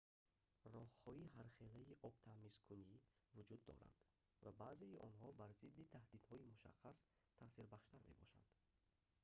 роҳҳои ҳархелаи обтамизкунӣ вуҷуд доранд ва баъзеи онҳо бар зидди таҳдидҳои мушаххас таъсирбахштар мебошанд